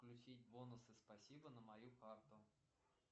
включить бонусы спасибо на мою карту